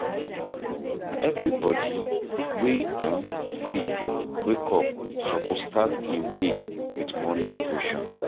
Everybodi wey um sleep, wake up suppose start im day wit morning devotion.